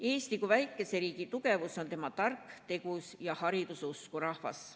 Eesti kui väikese riigi tugevus on meie tark, tegus ja hariduse usku rahvas.